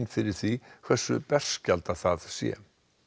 fyrir því hversu berskjaldað það sé